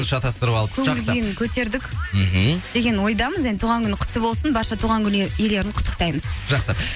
шатастырып алып көңіл күйін көтердік мхм деген ойдамыз енді туған күні құтты болсын барша туған күн иелерін құттықтаймыз жақсы